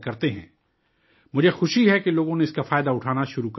مجھے خوشی ہے کہ لوگوں نے اس کا فائدہ اٹھانا شروع کر دیا ہے